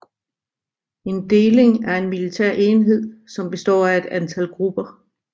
En deling er en militær enhed som består af et antal grupper